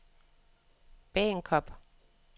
Bagenkop